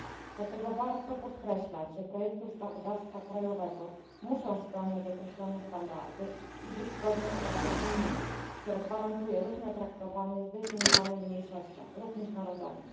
Dlatego warto podkreślać, że projekty ustawodawstwa krajowego muszą spełniać określone standardy i być zgodne z prawem unijnym, które gwarantuje równe traktowanie zdefiniowanym mniejszościom, również narodowym.